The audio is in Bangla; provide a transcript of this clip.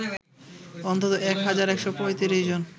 অন্তত ১ হাজার ১৩৫ জন